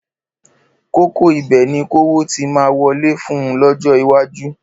Kókó ibẹ̀ ni kówó ti máa wọlé fún un lọ́jọ́ iwájú.